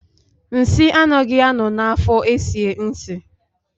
Nsị anaghị a nọ na afo esie nsị